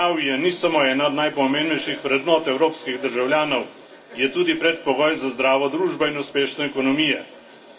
Zdravje ni samo ena najpomembnejših vrednot evropskih državljanov, je tudi predpogoj za zdravo družbo in uspešno ekonomijo.